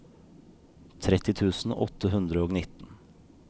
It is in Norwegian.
tretti tusen åtte hundre og nitten